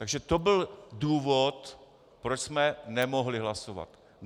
Takže to byl důvod, proč jsme nemohli hlasovat.